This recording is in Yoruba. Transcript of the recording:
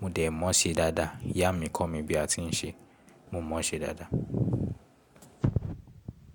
Mo dẹ̀ mọ́ ṣe dáadáa. Ìyá mi kọ̀ mí bí a tí ń ṣe. Mo mọ̀ ṣe dáadáa.